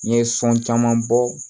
N ye sɔn caman bɔ